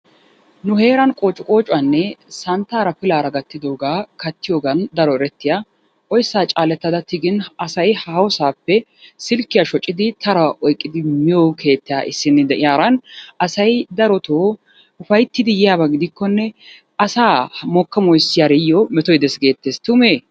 Nu heeran qoocciqoocuwanne santtaara pilaara gattidooga kattiyoogan daro erettiya oyssa caalettada tigin asay haahossappe silkkiya shoccidii tara oyqqidi miyo keettaa issina de'iyaara asay darotoo ufayttidi yiyyaaba gidikkonne asa mokka moyssiyaariyo metoy dees geetes tume?